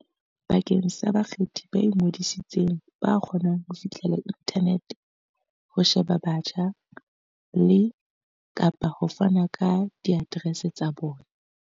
Bakeng sa bakgethi ba ingodisitseng ba kgonang ho fihlella inthanete ho sheba botjha le, kapa ho fana ka diaterese tsa bona.